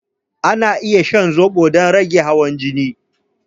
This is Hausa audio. Ana iya shan zobo don rage hawan jini